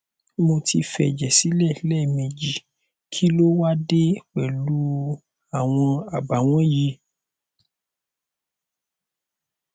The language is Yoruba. mo ti fẹjẹ sílẹ lẹẹmejì kí ló wá á dé pẹlú u àwọn àbàwọn yìí